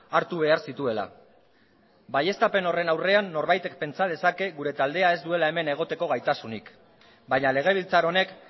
hartu behar zituela baieztapen horren aurrean norbaitek pentsa dezake gure taldeak ez duela hemen egoteko gaitasunik baina legebiltzar honek